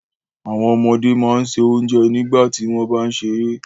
Àwọn ọmọdé máà n ṣẹ ọ̀njẹ nígbàtí wọn bá n sẹ̀rẹ̀.